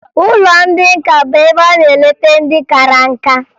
Ụlọ ndị nka bụ ebe a na-eleta ndị kara nká